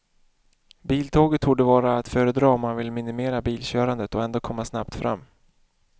Biltåget torde vara att föredra om man vill minimera bilkörandet och ändå komma snabbt fram.